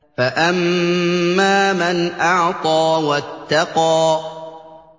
فَأَمَّا مَنْ أَعْطَىٰ وَاتَّقَىٰ